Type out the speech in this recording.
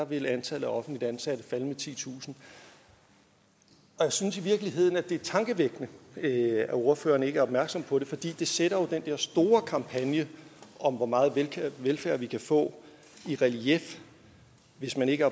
vil antallet af offentligt ansatte falde med titusind jeg synes i virkeligheden det er tankevækkende at ordføreren ikke er opmærksom på det for det sætter jo den der store kampagne om hvor meget velfærd vi kan få i relief hvis man ikke